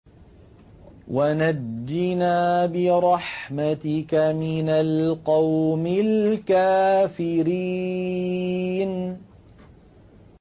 وَنَجِّنَا بِرَحْمَتِكَ مِنَ الْقَوْمِ الْكَافِرِينَ